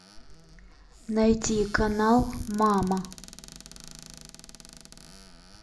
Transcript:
найти канал мама